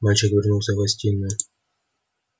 мальчик вернулся в гостиную